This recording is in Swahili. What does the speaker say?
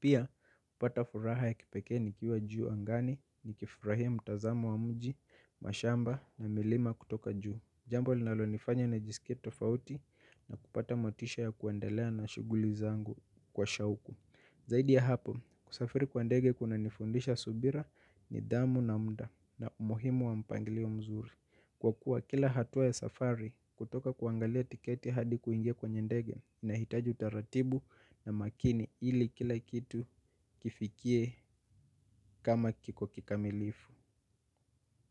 Pia hupata furaha ya kipeke ni kiwa juu angani ni kifurahia mtazamo wa mji, mashamba na milima kutoka juu. Jambo linalo nifanya nijiskie tofauti na kupata motisha ya kuendelea na shuguli zangu kwa shauku. Zaidi ya hapo, kusafiri kwa ndege kuna nifundisha subira nidhamu na mda na umuhimu wa mpanglio mzuri. Kwa kuwa kila hatua ya safari kutoka kuangalia tiketi hadi kuingia kwenye ndege nahitaji utaratibu na makini ili kila kitu kifikie kama kiko kikamilifu.